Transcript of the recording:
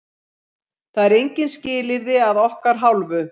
Það eru engin skilyrði að okkar hálfu.